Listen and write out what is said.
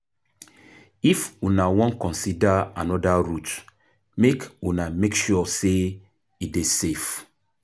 If una wan consider anoda route make una make sure sey e dey safe.